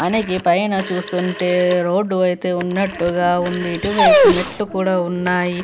అనేగి పైన చూస్తుంటే రోడ్డు అయితే ఉన్నట్టుగా ఉంది ఇటువైపు మెట్లు కూడా ఉన్నాయి.